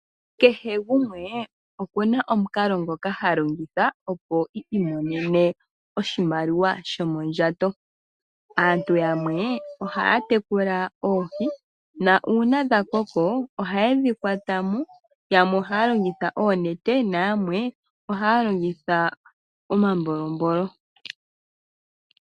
Kehe gumwe okuna omukalo ngoka ha longitha opo i imonene oshimaliwa shomondjato. Aantu yamwe ohaya tekula oohi, nuuna dha koko, ohaye dhi kwata mo. Yamwe ohaya longitha oonete nenge omambolombolo.